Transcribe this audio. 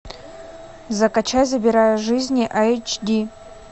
закачай забирая жизни айч ди